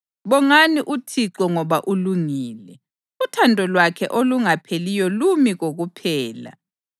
Bongani uThixo ngoba ulungile. Uthando lwakhe olungapheliyo lumi kokuphela.